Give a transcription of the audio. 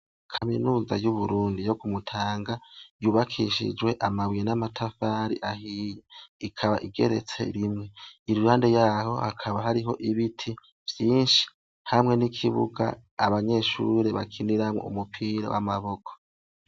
Kaminuza y'uburundi yo ku Mutanga yubakishijwe amabuye n'amatafari ahiye. Ikaba igeretse rimwe. Iruhande yaho hakaba hariho ibiti vyinshi hamwe n'ikibuga abanyeshure bakiniramwo umupira w'amaboko.